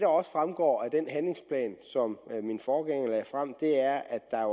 også fremgår af den handlingsplan som min forgænger lagde frem er at der er